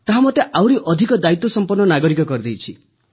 ତାହା ମୋତେ ଆହୁରି ଅଧିକ ଦାୟିତ୍ୱସମ୍ପନ୍ନ ନାଗରିକ କରିଛି